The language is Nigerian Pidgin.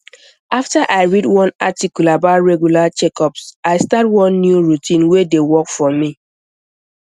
after i read one article about regular checkups i start one new routine wey dey work for me